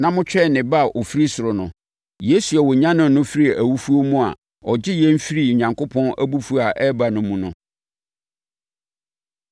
na motwɛn ne Ba a ɔfiri ɔsoro no; Yesu a ɔnyanee no firii awufoɔ mu a ɔgye yɛn firi Onyankopɔn abufuo a ɛreba no mu no.